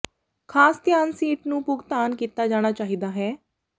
ਖਾਸ ਧਿਆਨ ਸੀਟ ਨੂੰ ਭੁਗਤਾਨ ਕੀਤਾ ਜਾਣਾ ਚਾਹੀਦਾ ਹੈ